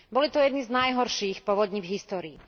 Boli to jedny z najhorších povodní v histórii.